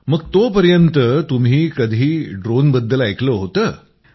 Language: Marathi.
मग तोपर्यंत तुम्ही कधी ड्रोनबद्दल ऐकलं होतं